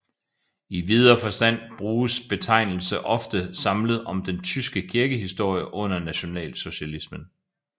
I videre forstand bruges betegnelse ofte samlet om den tyske kirkehistorie under nationalsocialismen